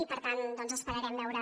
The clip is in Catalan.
i per tant esperarem veure